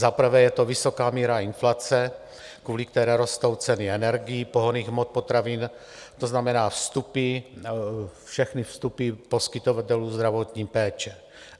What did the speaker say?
Za prvé je to vysoká míra inflace, kvůli které rostou ceny energií, pohonných hmot, potravin, to znamená vstupy, všechny vstupy poskytovatelů zdravotní péče.